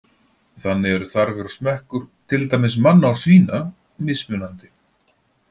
Þannig eru þarfir og smekkur, til dæmis manna og svína, mismunandi.